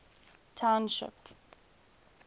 township